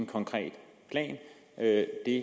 konkret plan det